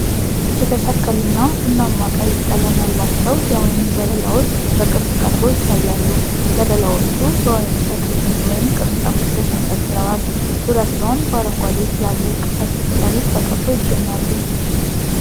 የተሰቀሉና ቡናማ ቀይ ቀለም ያላቸው የወይን ዘለላዎች በቅርብ ቀርበው ይታያሉ። ዘለላዎቹ በወይኑ ተክል ግንድ ወይም ቅርንጫፎች ላይ ተንጠልጥለዋል፣ ዙሪያቸውን በአረንጓዴ ትልልቅ፣ ሰፋፊ ቅጠሎች ተከበው ይገኛሉ።